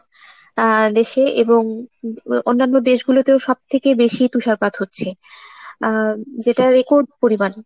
আহ দেশে এবং অন্যান্য দেশগুলোতে ও সবথেকে বেশি তুষারপাত হচ্চে আহ যেটা record পরিমান।